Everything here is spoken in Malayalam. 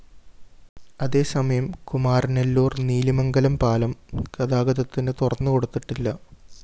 അതേ സമയം കുമാരനെല്ലൂര്‍ നീലിമംഗലം പാലം ഗതാഗതത്തിന് തുറന്ന് കൊടുത്തിട്ടില്ല